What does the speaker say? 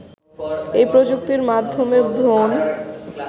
এই প্রযুক্তির মাধ্যমে ভ্রূণ